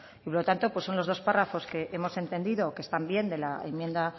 y por lo tanto son los dos párrafos que ya hemos entendido que están bien de la enmienda